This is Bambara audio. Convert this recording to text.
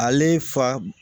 Ale fa